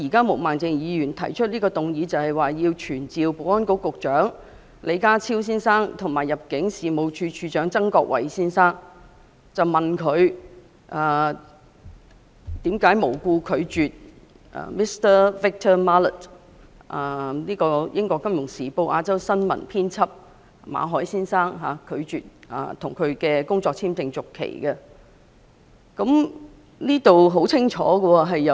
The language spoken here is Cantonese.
毛孟靜議員動議這項議案，旨在傳召保安局局長李家超先生及入境事務處處長曾國衞先生，詢問他們為何無故拒絕 Mr Victor MALLET—— 英國《金融時報》亞洲新聞編輯馬凱先生——的工作簽證續期申請。